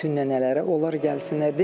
Bütün nənələr, onlar gəlsinlər.